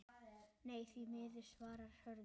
Nei, því miður svarar Hörður.